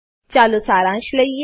ચાલો સારાંશ લઈએ